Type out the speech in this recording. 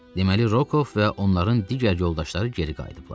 Deməli, Rokof və onların digər yoldaşları geri qayıdıblar.